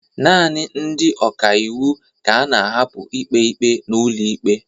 naanị ndị ọka iwu ka a na-ahapụ ikpe ikpe n'ụlọ ikpe